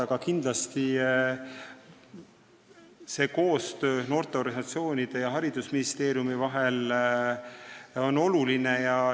Aga kindlasti on noorteorganisatsioonide ja haridusministeeriumi koostöö oluline.